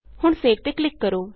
ਹੁਣ ਸੇਵ ਤੇ ਕਲਿਕ ਕਰੋ